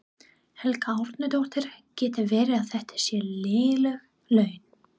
Helga Arnardóttir: Getur verið að þetta séu léleg laun?